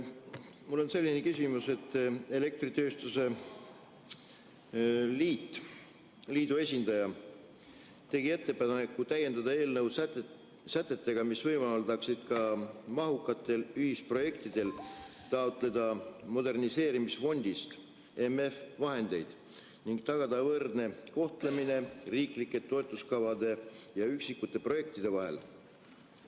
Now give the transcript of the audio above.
Mul on selline küsimus, et elektritööstuse liidu esindaja tegi ettepaneku täiendada eelnõu sätetega, mis võimaldaksid ka mahukatel ühisprojektidel taotleda moderniseerimisfondist vahendeid ning tagada võrdne kohtlemine riiklike toetuskavade ja üksikute projektide vahel.